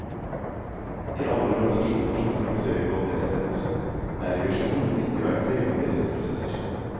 I alle organisasjoner som praktiserer kvalitetsledelse, er revisjon et nyttig verktøy i forbedringsprosesser.